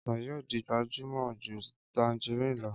Ọsàn yóò di gbajúmọ̀ ju tanjarínnì lọ.